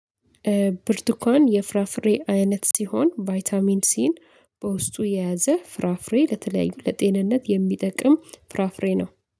ብርቱካን የፍራፍሬ አይነት ሲሆን ቫይታሚን ሲን በውስጡ የያዘ ፍራፍሬ ለተለያዩ ለጤንነት የሚጠቅም ፍራፍሬ ነው።